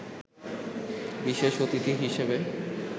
বিশেষ অতিথি হিসেবে